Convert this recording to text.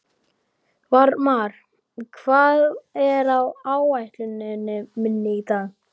Varmar, hvað er á áætluninni minni í dag?